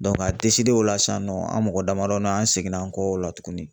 ka o la sisan nɔ, an mɔgɔ damadɔ an seginna an kɔ o la tuguni